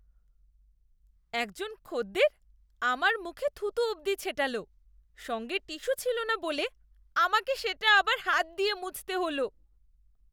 একজন খদ্দের আমার মুখে থুতু অবধি ছেটাল। সঙ্গে টিস্যু ছিলনা না বলে আমাকে সেটা আবার হাত দিয়ে মুছতে হল!